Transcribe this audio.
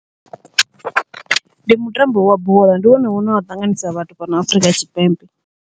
Ndi mutambo wa bola, ndi wone une wa ṱanganisa vhathu fhano Afrika Tshipembe.